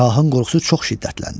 Şahın qorxusu çox şiddətləndi.